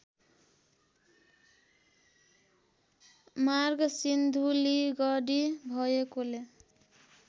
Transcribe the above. मार्ग सिन्धुलीगढी भएकोले